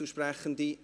Einzelsprechende